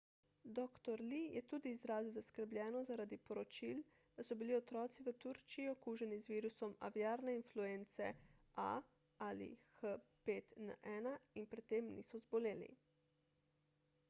dr. lee je tudi izrazil zaskrbljenost zaradi poročil da so bili otroci v turčiji okuženi z virusom aviarne influence ah5n1 in pri tem niso zboleli